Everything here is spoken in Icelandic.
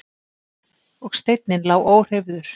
Og steinninn lá óhreyfður.